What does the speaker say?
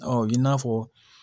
i n'a fɔ